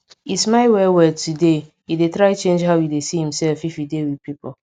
e smile well well today he dey try change how e dey see himself if e dey with people